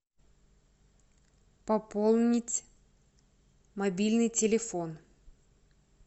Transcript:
пополнить мобильный телефон